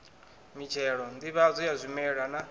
mitshelo nḓivhadzo ya zwimela na